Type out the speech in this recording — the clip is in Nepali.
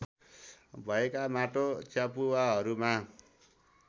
भएका माटो च्यापुवाहरूमा